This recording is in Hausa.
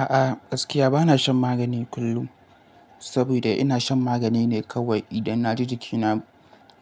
A'a, gaskiya bana shan magani kullum sabida ina shan magani ne kawai idan na ji jikina